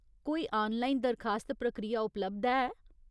कोई आनलाइन दरखास्त प्रक्रिया उपलब्ध है ?